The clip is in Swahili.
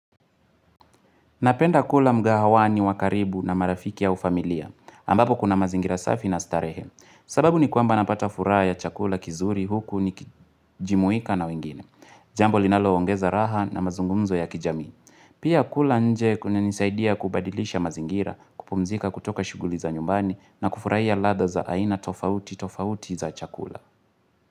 Napenda kula mgahawani wa karibu na marafiki au familia, ambapo kuna mazingira safi na starehe. Sababu ni kwamba napata furaha ya chakula kizuri huku nikijumuika na wengine. Jambo linalo ongeza raha na mazungumzo ya kijamii. Pia kula nje kunanisaidia kubadilisha mazingira, kupumzika kutoka shughuli za nyumbani na kufurahia ladha za aina tofauti tofauti za chakula.